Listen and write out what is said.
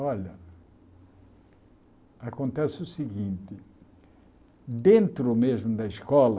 Olha, acontece o seguinte, dentro mesmo da escola,